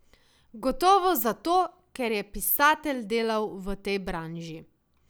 Gotovo zato, ker je pisatelj delal v tej branži.